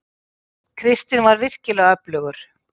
Kristinn var virkilega öflugur.